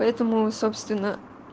поэтому собственно